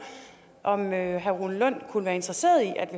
om herre rune lund kunne være interesseret i at vi